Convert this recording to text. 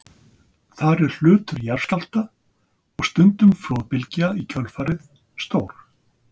Þar er hlutur jarðskjálfta, og stundum flóðbylgja í kjölfarið, stór.